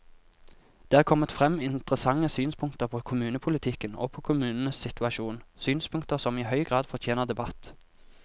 Det er kommet frem interessante synspunkter på kommunepolitikken og på kommunenes situasjon, synspunkter som i høy grad fortjener debatt.